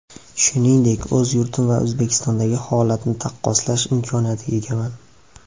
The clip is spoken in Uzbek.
Shuningdek, o‘z yurtim va O‘zbekistondagi holatni taqqoslash imkoniyatiga egaman.